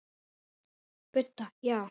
Budda: Já.